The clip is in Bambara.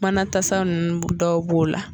Manatasa ninnu dɔw b'o la.